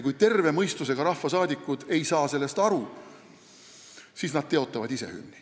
Kui terve mõistusega rahvasaadikud ei saa sellest aru, siis nad teotavad ise hümni.